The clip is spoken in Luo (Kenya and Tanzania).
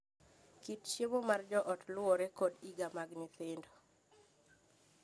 Kit chiemo mar joot luwore kod higa mag nyithindo.